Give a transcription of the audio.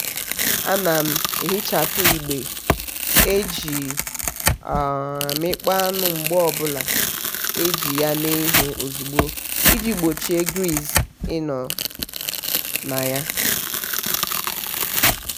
ana m ehichapu igbe e ji um amịkpọ anụ mgbe ọbụla e ji ya mee ihe ozugbo iji gbochie griz ịnọ na ya.